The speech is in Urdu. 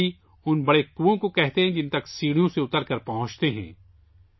باوڑی ان بڑے کنوئیں کو کہتے ہیں جن تک سیڑھیوں سے اترکر پہنچتے ہیں